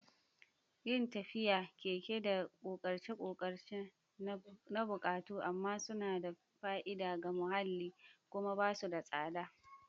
Yin tafiya, keke, da ƙoƙarce-ƙoƙarce na buƙatu amma suna da fa'ida ga muhalli kuma ba su da tsada.